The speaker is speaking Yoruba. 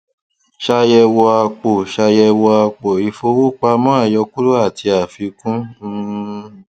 ṣàyẹwò àpò ṣàyẹwò àpò ìfowópamọ àyọkúrò àti àfikún um